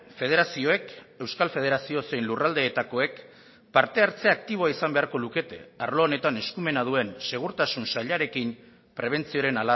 federazioek euskal federazio zein lurraldeetakoek parte hartze aktiboa izan beharko lukete arlo honetan eskumena duen segurtasun sailarekin prebentzioaren